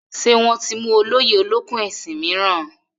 Ṣé wọ́n ti mú olóyè olókùn-ẹṣin mìíràn?